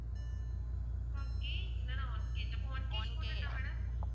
KG இல்லன்னா one KG அப்போ one KG போட்டுடட்டா madam